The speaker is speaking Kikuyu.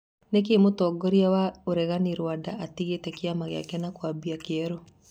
Nĩkĩĩ mũtongoria wa ũregani Ruanda atigĩte Kĩama gĩake na kũambia kĩerũ?